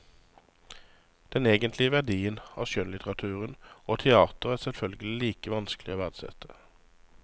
Den egentlige verdien av skjønnlitteratur og teater er selvfølgelig like vanskelig å verdsette.